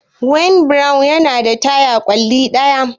Wheelbarrow yana da taya ƙwalli ɗaya.